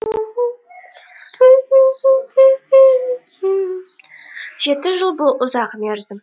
жеті жыл бұл ұзақ мерзім